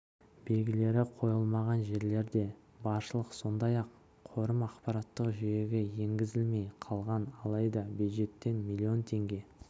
белгілері қойылмаған жерлер де баршылық сондай-ақ қорым ақпараттық жүйеге енгізілмей қалған алайда бюджеттен млн теңге